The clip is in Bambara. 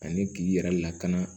Ani k'i yɛrɛ lakana